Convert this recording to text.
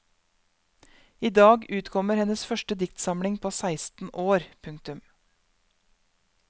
Idag utkommer hennes første diktsamling på seksten år. punktum